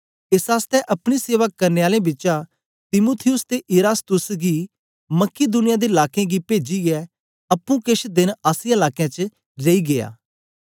एस आसतै अपनी सेवा करने आलें बिचा तीमुथियुस ते इरास्तुस गी मकिदुनिया दे लाकें गी पेजीयै अप्पुं केछ देन आसिया लाकें च रेई गीया